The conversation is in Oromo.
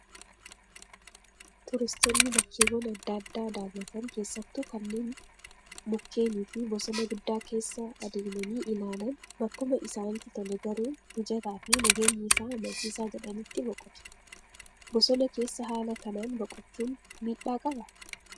Turistoonni bakkeewwan adda addaa daawwatan keessattuu kanneen mukkeenii fi bosona guddaa keessa adeemanii ilaalan bakkuma isaanitti tolee garuu mijataa fi nageenyi isaa amansiisaa jedhanitti boqotu. Bosona keessa haala kanaan boqochuun miidhaa qabaa?